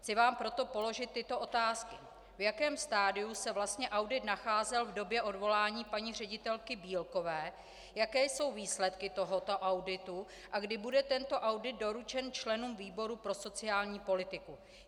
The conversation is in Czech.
Chci vám proto položit tyto otázky: V jakém stadiu se vlastně audit nacházel v době odvolání paní ředitelky Bílkové, jaké jsou výsledky tohoto auditu a kdy bude tento audit doručen členům výboru pro sociální politiku.